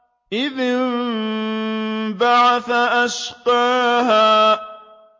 إِذِ انبَعَثَ أَشْقَاهَا